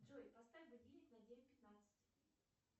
джой поставь будильник на девять пятнадцать